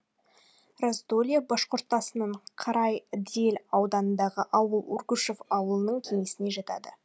раздолье башқұртасының карайыдель ауданындағы ауыл ургушев ауылдық кеңесіне жатады